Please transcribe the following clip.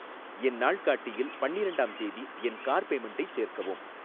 என் நாள்காட்டியில் பன்னிரெண்டாம் தேதி என் கார் பேமென்ட்டைச் சேர்க்கவும்